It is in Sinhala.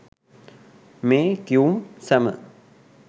මේ කියුම් සැම